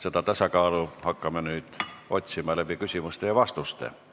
Seda tasakaalu hakkame nüüd otsima küsimuste ja vastuste abil.